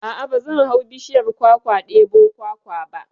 A'a ba zan hau bishiyar kwakwa ɗebo kwakwa ba